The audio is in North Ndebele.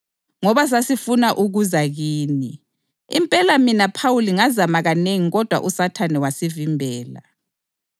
Ngoba sasifuna ukuza kini, impela mina Phawuli ngazama kanengi kodwa uSathane wasivimbela.